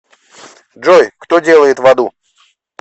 джой кто делает в аду